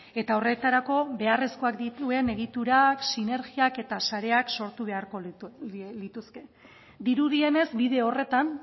eta horretarako beharrezkoak dituen egiturak sinergiak eta sareak sortu beharko lituzke dirudienez bide horretan